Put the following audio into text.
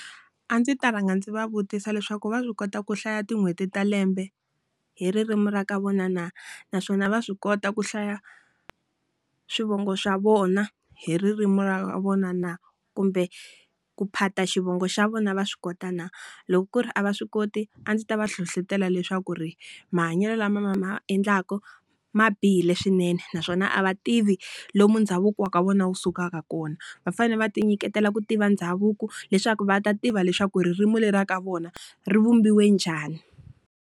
A ndzi ta rhanga ndzi va vutisa leswaku va swi kota ku hlaya tin'hweti ta lembe hi ririmi ra ka vona na naswona va swi kota ku hlaya swivongo swa vona hi ririmi ra ka vona na? Kumbe ku phata xivongo xa vona va swi kota na? Loko ku ri a va swi koti, a ndzi ta va hlohletela leswaku ri mahanyelo lama ma endlaka ma bihile swinene naswona a va tivi lomu ndhavuko wa ka vona wu sukaka kona. Va fanele va ti nyiketela ku tiva ndhavuko, leswaku va ta tiva leswaku ririmi ra vona ri vumbiwe njhani.